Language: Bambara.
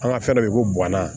An ka fɛn dɔ be yen ko guwana